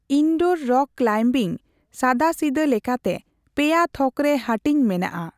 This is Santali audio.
ᱤᱱᱰᱳᱨ ᱨᱚᱠ ᱠᱞᱟᱭᱤᱢᱵᱤᱝ ᱥᱟᱫᱟᱥᱤᱫᱟᱹ ᱞᱮᱠᱟᱛᱮ ᱯᱮᱭᱟ ᱛᱷᱚᱠ ᱨᱮ ᱦᱟᱹᱴᱤᱧ ᱢᱮᱱᱟᱜ ᱟ ᱾